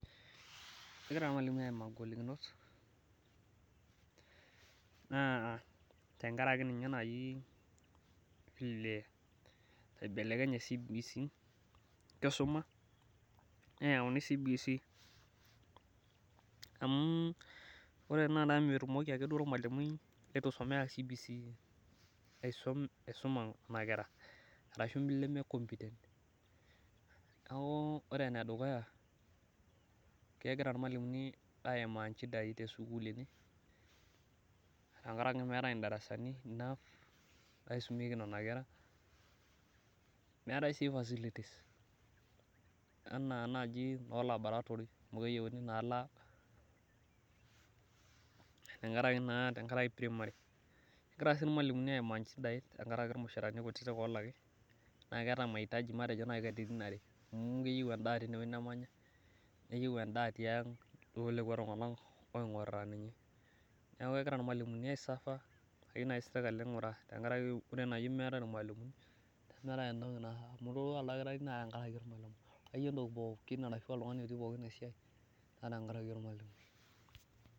kegira irmalimuni aimaa igolikinot tenkaraki ninye naaji vile naibelekenye,e cbc etu isuma amu ore tenakata metumoki ake olmalimui letu isuma cbc aisuma nena kera, neeku ore ene dukuya kegira imalimuni aimaa ishida tesukul tenkaraki metae idarasani naisumieki nena kera meetae sii facilities enaa laboratory tenkaraki naa primary tenkaraki ilmushara kiti neeku keyieu ilmalimuni ninguraa sirkali.